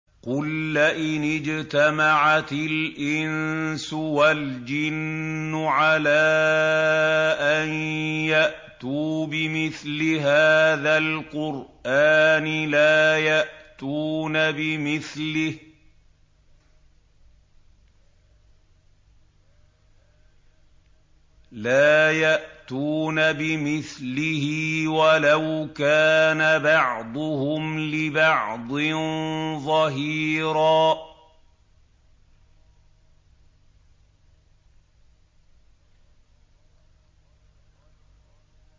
قُل لَّئِنِ اجْتَمَعَتِ الْإِنسُ وَالْجِنُّ عَلَىٰ أَن يَأْتُوا بِمِثْلِ هَٰذَا الْقُرْآنِ لَا يَأْتُونَ بِمِثْلِهِ وَلَوْ كَانَ بَعْضُهُمْ لِبَعْضٍ ظَهِيرًا